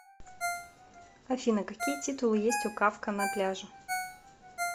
афина какие титулы есть у кафка на пляже